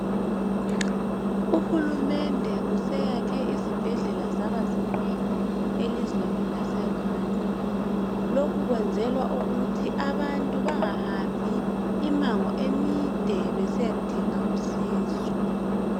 Uhulumende useyakhe izibhedlela zaba zinengi elizweni laseRwanda. Lokhu kwenzelwa ukuthi abantu bengahambi imango emide besiyadinga usizo.